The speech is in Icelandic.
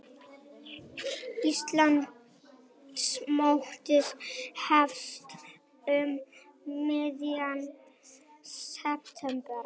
Íslandsmótið hefst um miðjan september